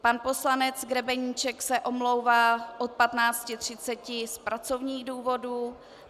Pan poslanec Grebeníček se omlouvá od 15.30 z pracovních důvodů.